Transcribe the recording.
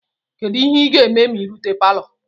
Kedu ihe ị ga-eme ma ị rute palo?